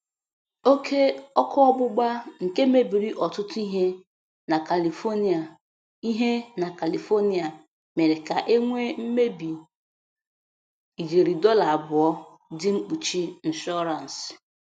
Oke ọkụ ọgbụgba nke mebiri ọtụtụ ihe na Kalifonịa ihe na Kalifonịa mere ka e nwee mmebi ijeri dọla abụọ dị mkpuchi nshọransị.